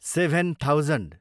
seven thousand